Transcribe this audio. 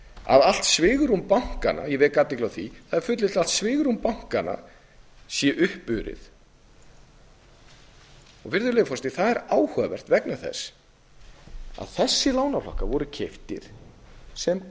að allt svigrúm bankanna ég vek athygli á því það er fullyrt að allt svigrúm bankanna sé uppurið það er áhugavert vegna þess að þessir lánaflokkar vor keyptir sem